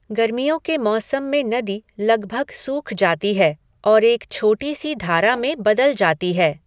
गर्मियों के मौसम में नदी लगभग सूख जाती है, और एक छोटी सी धारा में बदल जाती है।